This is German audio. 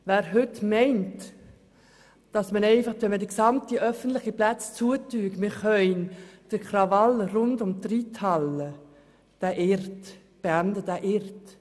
Wer heute meint, man könne den Krawall rund um die Reithalle einfach mit dem Schliessen aller öffentlichen Plätze verhindern, irrt sich.